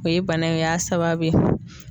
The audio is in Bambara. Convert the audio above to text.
O ye bana in o y'a sababu ye.